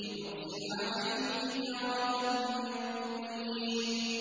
لِنُرْسِلَ عَلَيْهِمْ حِجَارَةً مِّن طِينٍ